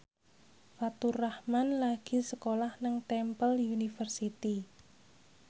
Faturrahman lagi sekolah nang Temple University